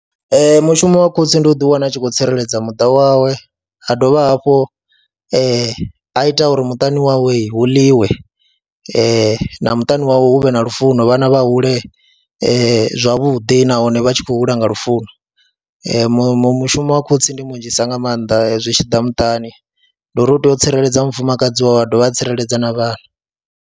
Ee, mushumo wa khotsi ndi u ḓiwana u tshi khou tsireledza muṱa wawe ha dovha hafhu a ita uri muṱani wawe hu ḽiwe na muṱani wawe hu vhe na lufuno, vhana vha hule zwavhuḓi nahone vha tshi khou hula nga lufuno, mushumo wa khotsi ndi munzhisa nga maanḓa zwi tshi ḓa muṱani ndi uri u tea u tsireledza mufumakadzi wa dovha a tsireledza na vhana.